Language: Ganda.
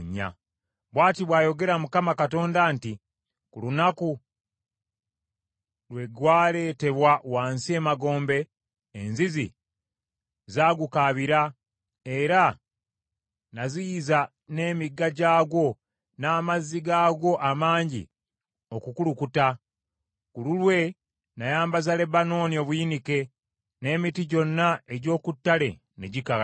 “ ‘Bw’ati bw’ayogera Mukama Katonda nti, Ku lunaku lwe gwaleetebwa wansi emagombe, enzizi zaagukaabira, era naziyiza n’emigga gyagwo, n’amazzi gaagwo amangi okukulukuta. Ku lulwe nayambaza Lebanooni obuyinike, n’emiti gyonna egy’oku ttale ne gikala.